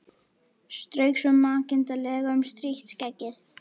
Strauk svo makindalega um strítt skeggið.